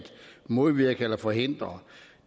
modvirke eller forhindre